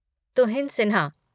Tuhin Sinha